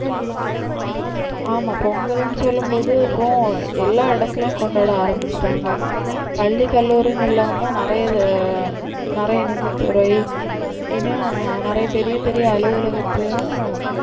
ஆமா பொங்கலுனு சொல்லும்போதும் எல்லா இடத்துலயும் கொண்டாட ஆரம்பிச்சிட்டாங்க பள்ளி கல்லூரினு இல்லாம நிறைய நிறைய நிதித்துறை இன்னும் நிறைய பெரிய பெரிய அலுவலகத்திலும்